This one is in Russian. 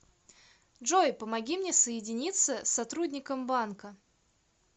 джой помоги мне соединиться с сотрудником банка